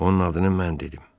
Onun adını mən dedim.